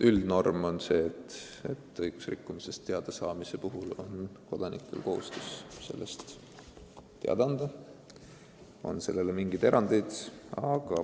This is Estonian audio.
Üldnorm on see, et õigusrikkumisest teadasaamise korral on kodanikel kohustus sellest teada anda.